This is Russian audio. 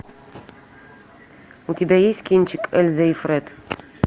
у тебя есть кинчик эльза и фред